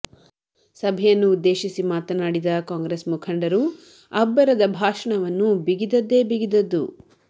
ಸಭೆಯನ್ನು ಉದ್ಧೇಶಿಸಿ ಮಾತನಾಡಿದ ಕಾಂಗ್ರೆಸ್ ಮುಖಂಡರು ಅಬ್ಬರದ ಭಾಷಣವು ಬಿಗಿದದ್ದೇ ಬಿಗಿದದ್ದು